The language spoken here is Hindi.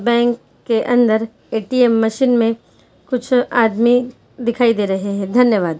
बैंक के अंदर ए.टी .एम मशीन में कुछ आदमी दिखाई दे रहे है धन्यवाद्।